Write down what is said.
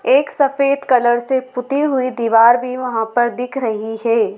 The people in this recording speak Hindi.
एक सफेद कलर से पुती हुई दीवार भीं वहां पर दिख रहीं हैं।